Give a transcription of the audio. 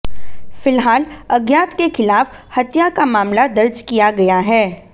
फिलहाल अज्ञात के खिलाफ हत्या का मामला दर्ज किया गया है